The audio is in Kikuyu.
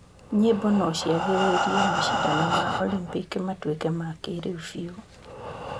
Nyĩmbo no ciagĩrĩrie macindano ma Olympic matuĩke ma kĩrĩu biũ?